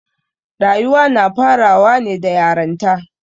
Rayuwa na farawa ne da yaranta.